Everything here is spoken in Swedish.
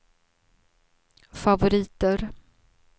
favoriter